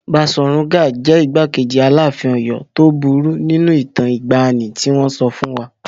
Baṣọ̀run Gáà jẹ́ igbákejì Aláàfin Ọ̀yọ́ tó burú nínú ìtàn ìgbàanì tí wọn sọ fún wa.